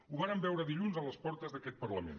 ho vàrem veure dilluns a les portes d’aquest parlament